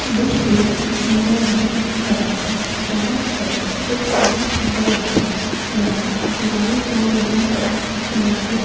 यह एक नदी है जहां पर एक बहोत बड़ी नाव लाई जा रही है किनारे--